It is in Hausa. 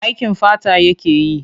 Aikin fata yake yi.